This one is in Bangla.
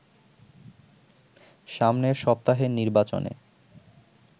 সামনের সপ্তাহের নির্বাচনে